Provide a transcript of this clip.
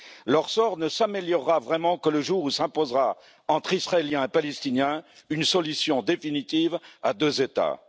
Leur sort ne s'améliorera vraiment que le jour où s'imposera, entre Israéliens et Palestiniens, une solution définitive à deux États.